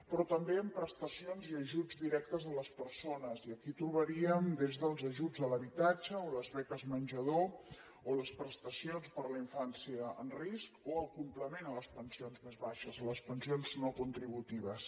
però també amb prestacions i ajuts directes a les persones i aquí trobaríem des dels ajuts a l’habitatge o les beques menjador o les prestacions per a la infància en risc o el complement a les pensions més baixes les pensions no contributives